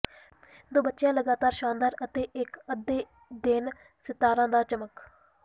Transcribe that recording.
ਦੋ ਬਚਿਆ ਲਗਾਤਾਰ ਸ਼ਾਨਦਾਰ ਅਤੇ ਇੱਕ ਅੱਧੇ ਦਿਨ ਸਿਤਾਰਾ ਦਾ ਚਮਕ